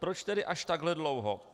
Proč tedy až takhle dlouho?